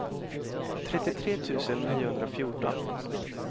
trettiotre tusen niohundrafjorton